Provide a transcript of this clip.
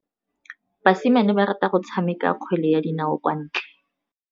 Basimane ba rata go tshameka kgwele ya dinaô kwa ntle.